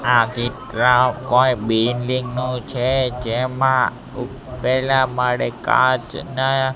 આ એક ગ્રા કોઈ બિલ્ડીંગ નુ છે જેમા પેહલા માળે કાચના--